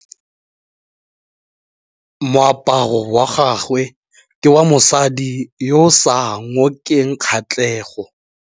Moaparô wa gagwe ke wa mosadi yo o sa ngôkeng kgatlhegô.